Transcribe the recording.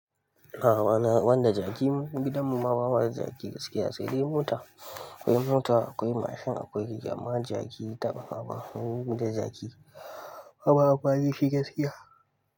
Awa na wanda jaki, gidan mu ma bamada jaki gaskiya sai dai mota. Akwai mota, akwai mashin, akwai keke, amma jaki taɓ haba. Mu da jaki, bama amfani dashi gaskiya.